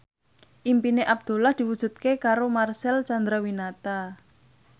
impine Abdullah diwujudke karo Marcel Chandrawinata